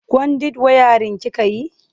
Kwandit wayarin kika yi?